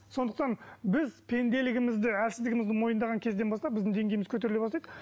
сондықтан біз пенделігімізді әлсіздігімізді мойындаған кезден бастап біздің деңгейіміз көтеріле бастайды